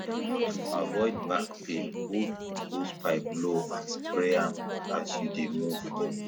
to avoid back pain hold hosepipe low and spray am as you dey move